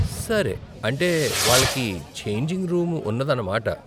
సరే, అంటే వాళ్ళకి ఛేంజింగ్ రూమ్ ఉన్నదన్నమాట.